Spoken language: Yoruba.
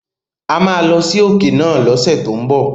A máa lọ sí òkè náà lọ́sẹ̀ tó ń bọ̀.